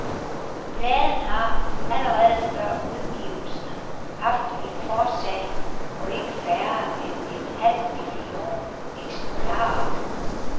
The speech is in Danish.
Pladen har, allerede før udgivelsen haft et forsalg på ikke færre end en halv million eksemplarer.